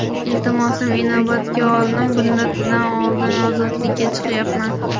Iltimosim inobatga olinib, muddatidan oldin ozodlikka chiqyapman.